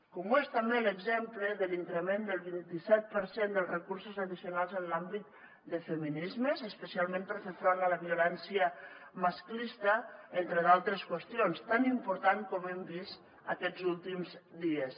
com ho és també l’exemple de l’increment del vint i set per cent dels recursos addicionals en l’àmbit de feminismes especialment per fer front a la violència masclista entre d’altres qüestions tan important com hem vist aquests últims dies